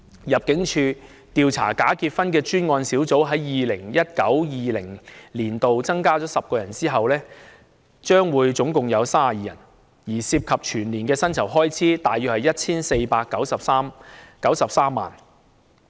入境處調查假結婚的專案小組在 2019-2020 年度增加了10人後，總共有32人，所涉及的全年薪酬開支約為 1,493 萬元。